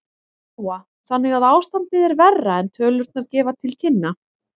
Lóa: Þannig að ástandið er verra en tölurnar gefa til kynna?